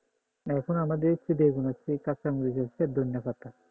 এখন আমাদের বেগুন আছে কাঁচামরিচ আছে ধনিয়া পাতা